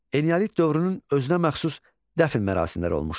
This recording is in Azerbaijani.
Eneolit dövrünün özünəməxsus dəfn mərasimləri olmuşdur.